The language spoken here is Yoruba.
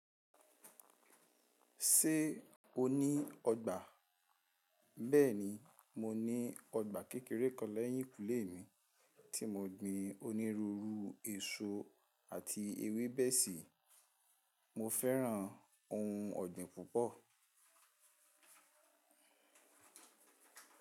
Ṣé o ní ọgbà? Bẹ́ẹ̀ni, mo ní ọgbà kékeré kan lẹ́yìn kùnlé mi tí mo gbìn onírúurú èso àti ewébẹ̀ sí. Mo fẹ́ràn ohun ọ̀gbìn púpọ̀.